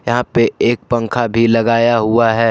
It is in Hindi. यहां पे एक पंखा भी लगाया हुआ है।